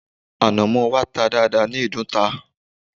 Ànàmọ́ wa ta dáadáa ní ìdunta